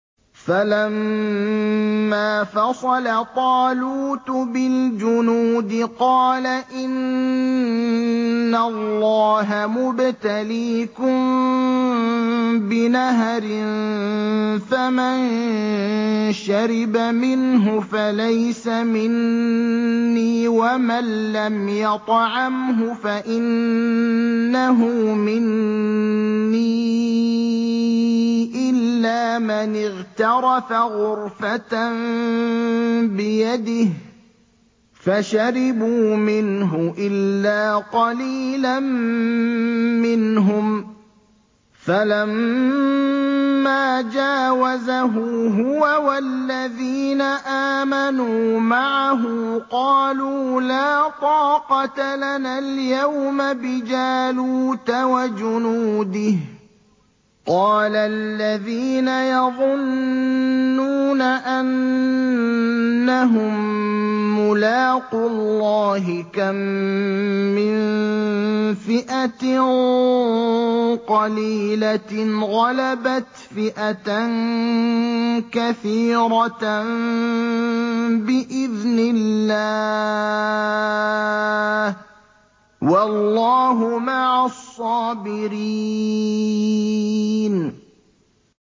فَلَمَّا فَصَلَ طَالُوتُ بِالْجُنُودِ قَالَ إِنَّ اللَّهَ مُبْتَلِيكُم بِنَهَرٍ فَمَن شَرِبَ مِنْهُ فَلَيْسَ مِنِّي وَمَن لَّمْ يَطْعَمْهُ فَإِنَّهُ مِنِّي إِلَّا مَنِ اغْتَرَفَ غُرْفَةً بِيَدِهِ ۚ فَشَرِبُوا مِنْهُ إِلَّا قَلِيلًا مِّنْهُمْ ۚ فَلَمَّا جَاوَزَهُ هُوَ وَالَّذِينَ آمَنُوا مَعَهُ قَالُوا لَا طَاقَةَ لَنَا الْيَوْمَ بِجَالُوتَ وَجُنُودِهِ ۚ قَالَ الَّذِينَ يَظُنُّونَ أَنَّهُم مُّلَاقُو اللَّهِ كَم مِّن فِئَةٍ قَلِيلَةٍ غَلَبَتْ فِئَةً كَثِيرَةً بِإِذْنِ اللَّهِ ۗ وَاللَّهُ مَعَ الصَّابِرِينَ